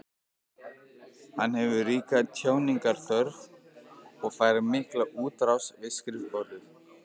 Hann hefur ríka tjáningarþörf og fær mikla útrás við skrifborðið.